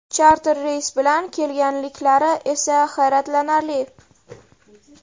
Charter reys bilan kelganliklari esa hayratlanarli.